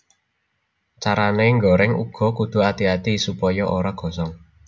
Carané ngoreng uga kudu ati ati supaya ora gosong